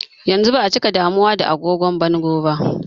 Yanzu ba'a cika damuwa da agogon bango ba.